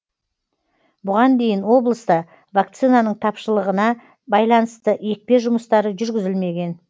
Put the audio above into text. бұған дейін облыста вакцинаның тапшылығына байланысты екпе жұмыстары жүргізілмеген